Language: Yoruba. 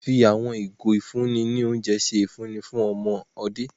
Wón fi àwọn ìgò ifunni ni oúnjẹ ṣe ifunni fun awọn ọmọde